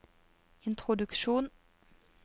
introduksjon